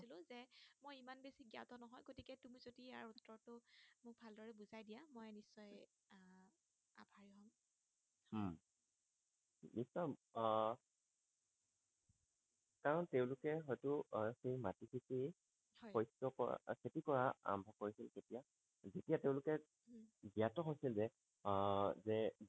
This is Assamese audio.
দি চাম আহ কাৰণ তেওঁলোকে হয়টো আহ সেই মাটি তোকেই হয় শস্য কৰা খেতি কৰা আৰম্ভ কৰিছিল কেতিয়া যেতিয়া তেওঁলোকে জ্ঞাত হৈছিল যে আহ যে